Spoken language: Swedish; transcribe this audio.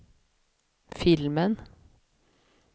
filmen